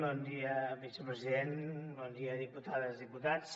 bon dia vicepresident bon dia diputades diputats